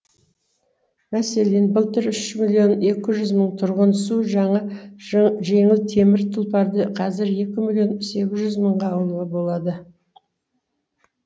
мәселен былтыр үш миллион екі жүз мың тұрған су жаңа жеңіл темір тұлпарды қазір екі миллион сегіз жүз мыңға алуға болады